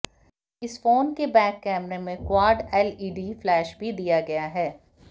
इस फोन के बैक कैमरे में क्वाड एलईडी फ्लैश भी दिया गया है